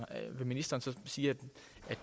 vil ministeren så sige at det